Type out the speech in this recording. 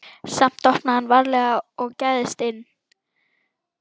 Samt opnaði hann varlega og gægðist inn.